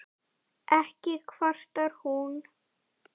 Ekki kvartar hún